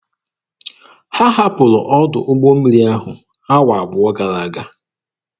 Ha hapụrụ ọdụ ụgbọ mmiri ahụ awa abụọ gara aga.